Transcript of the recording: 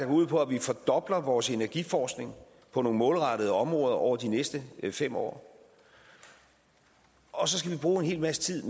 ud på at vi fordobler vores energiforskning på nogle målrettede områder over de næste fem år og så skal vi bruge en hel masse tid